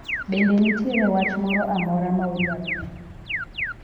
bende nitiere wach moro amora ma udwaro medo?